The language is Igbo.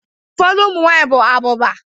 Ufodu umunwanyi bu abuba